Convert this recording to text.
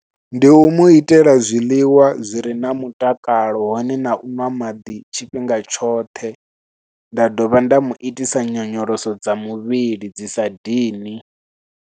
Ndi u mu itela zwiḽiwa zwi re na mutakalo hone na u ṅwa maḓi tshifhinga tshoṱhe, nda dovha nda mu itisa nyonyoloso dza muvhili dzi sa dini.